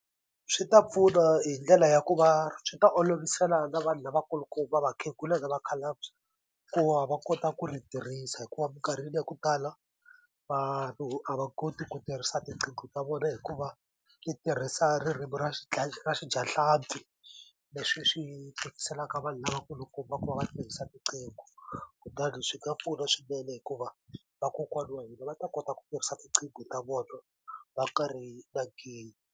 Swi ta pfuna hi ndlela ya ku va swi ta olovisela na vanhu lavakulukumba va vakhegula na vakhalabye ku va va kota ku ri tirhisa hikuva mikarhini ya ku tala vanhu a va koti ku tirhisa tiqingho ta vona hikuva swi tirhisa ririmi ra ra xidyahlampfi leswi swi tikiselaka vanhu lavakulukumba ku va va tirhisa riqingho kutani swi nga pfuna swinene hikuva vakokwana wa hina va ta kota ku tirhisa tinqingho ta vona va karhi .